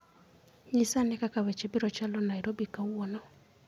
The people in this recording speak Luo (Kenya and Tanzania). Nyisa ane kaka weche biro chalo Nairobi kawuono